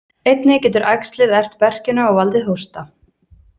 Einnig getur æxlið ert berkjuna og valdið hósta.